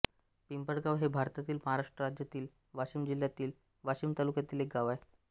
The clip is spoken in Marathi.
पिंपळगाव हे भारतातील महाराष्ट्र राज्यातील वाशिम जिल्ह्यातील वाशीम तालुक्यातील एक गाव आहे